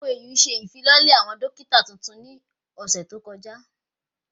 OAU se ìfilọ́lẹ̀ àwọn dókítà tuntun ní ọ̀sẹ̀ tó kọjá